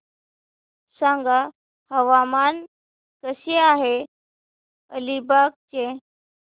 सांगा हवामान कसे आहे अलिबाग चे